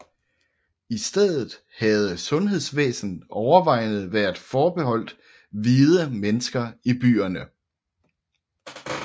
I stedet havde sundhedsvæsenet overvejende været forbeholdt hvide mennesker i byerne